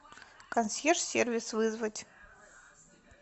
консьерж сервис вызвать